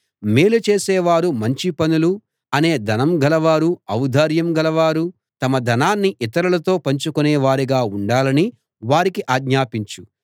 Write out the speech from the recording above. మేలు చేసేవారూ మంచి పనులు అనే ధనం గలవారూ ఔదార్యం గలవారూ తమ ధనాన్ని ఇతరులతో పంచుకొనేవారుగా ఉండాలని వారికి ఆజ్ఞాపించు